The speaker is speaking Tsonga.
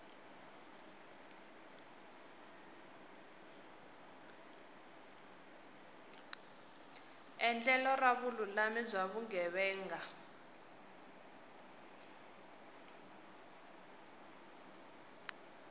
endlelo ra vululami bya vugevenga